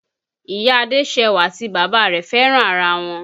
Ìyá Adéṣẹwà àti bàbá rẹ̀ fẹ́ràn ara wọn